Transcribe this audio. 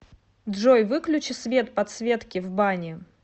джой выключи свет подсветки в бане